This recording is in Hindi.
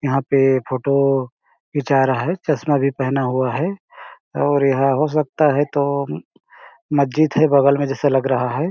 यहां पे फोटो खींचा आ रहा है चश्मा भी पहना हुआ है और यह हो सकता है तो मस्जिद है बगल में जैसा लग रहा है।